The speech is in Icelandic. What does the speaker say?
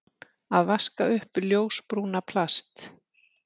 Að vaska upp ljósbrúna plast